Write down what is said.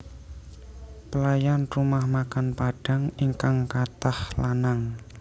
Pelayan rumah makan Padang ingkang katah lanang